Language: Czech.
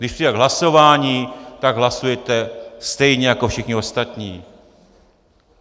Když přijde k hlasování, tak hlasujete stejně jako všichni ostatní.